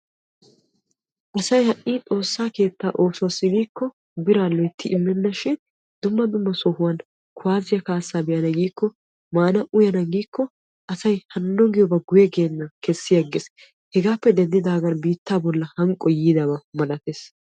Asay ha'i xoosa keetta oosuwassi giikko biraa imennashin dumma dumma sohuwan kuwasiya kaassa be'an giikko maana uyana giiko guye geena kessi agees hegappe denddigan biitta bolla hanqqoy yiidaba malatees.